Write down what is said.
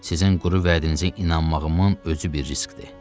Sizin quru vədinizə inanmağımın özü bir riskdir.